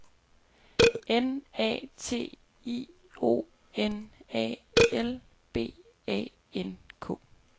N A T I O N A L B A N K